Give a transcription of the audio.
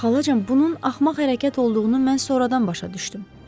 Xalacan, bunun axmaq hərəkət olduğunu mən sonradan başa düşdüm.